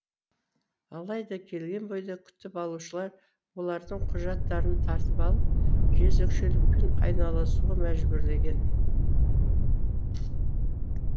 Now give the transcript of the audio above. алайда келген бойда күтіп алушылар олардың құжаттарын тартып алып жезөкшелікпен айналысуға мәжбүрлеген